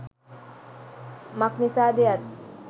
මක්නිසා ද යත්